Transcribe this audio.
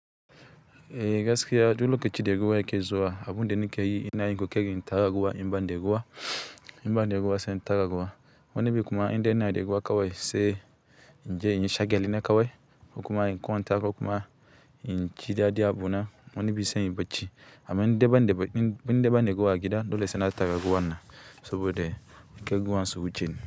Eh gaskiya duk lokacin da ruwa yake zuwa, abun da ni ke yi ina yin ƙoƙarin in tara ruwa in banda ruwa, in banda ruwa sai in ta tara ruwa. Wani bi kuma indai ina da ruwa kawai sai inje inyi shagalina kawai kokuma in kwanta kokuma inji daɗi abuna wani bi sai inyi bacci. Amma in dai in dai banda ruwa a gida dole sai na tara ruwannan saboda kar ruwan su wuceni.